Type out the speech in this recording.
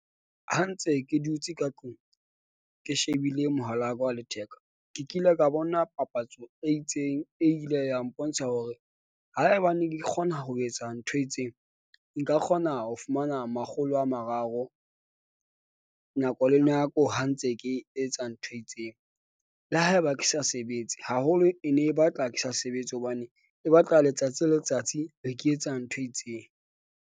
Ha ntse ke dutse ka tlung, ke shebile mohala wa ka wa letheka. Ke kile ka bona papatso e itseng e ile ya mpontsha hore haebane di kgona ho etsa ntho e itseng. Nka kgona ho fumana makgolo a mararo. Nako le nako ha ntse ke etsa ntho e itseng. Le haeba ke sa sebetse haholo, e ne e batla ke sa sebetse hobane e batla letsatsi le letsatsi be ke etsa ntho e itseng.